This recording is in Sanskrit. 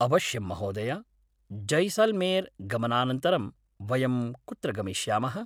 अवश्यं महोदय, जैसाल्मेर् गमनानन्तरं वयं कुत्र गमिष्यामः?